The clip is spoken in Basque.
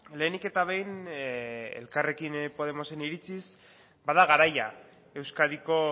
lehenik eta behin elkarrekin podemosen iritziz bada garaia euskadiko